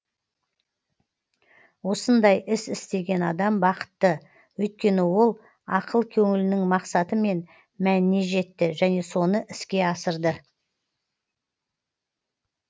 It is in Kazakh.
осындай іс істеген адам бақытты өйткені ол ақыл көңілінің мақсаты мен мәніне жетті және соны іске асырды